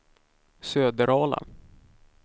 Söderala